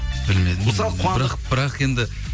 білмедім бірақ бірақ енді